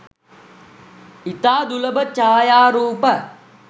ඉතා දුලබ ඡායාරූප